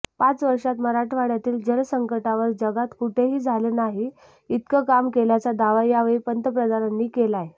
पाच वर्षांत मराठवाड्यातील जलसंकटावर जगात कुठेही झालं नाही इतकं काम केल्याचा दावा यावेळी पंतप्रधानांनी केलाय